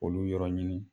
Olu yɔrɔ ɲini